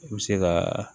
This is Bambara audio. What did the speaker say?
I bɛ se ka